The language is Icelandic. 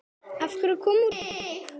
Af hverju kom út tromp?